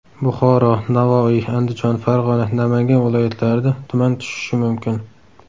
Buxoro, Navoiy, Andijon, Farg‘ona, Namangan viloyatlarida tuman tushishi mumkin.